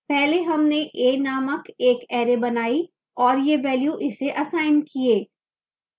पहले हमने a named एक array बनाई और ये values इसे असाइन किए